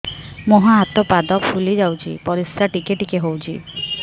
ମୁହଁ ହାତ ପାଦ ଫୁଲି ଯାଉଛି ପରିସ୍ରା ଟିକେ ଟିକେ ହଉଛି